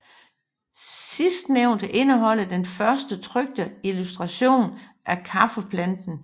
Sidstnævnte indeholder den første trykte illustration af kaffeplanten